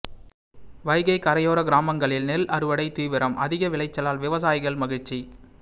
வைகை கரையோர கிராமங்களில் நெல் அறுவடை தீவிரம் அதிக விளைச்சலால் விவசாயிகள் மகிழ்ச்சி